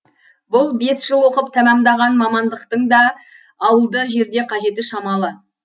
бұл бес жыл оқып тәмамдаған мамандықтың да ауылды жерде қажеті шамалы